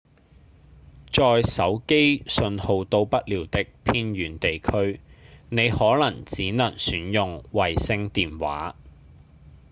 在手機訊號到不了的偏遠地區您可能只能選用衛星電話